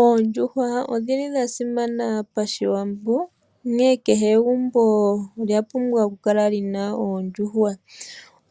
Oondjuhwa odhili dha simana pashiwambo, onkene kehe egumbo olya pumbwa okukala lina oondjuhwa,